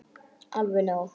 Alveg nóg.